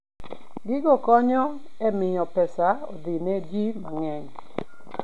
Gigo konyo e miyo pesa odhi ne ji mang'eny.